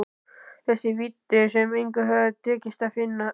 Þessar víddir sem engum hafði tekist að finna.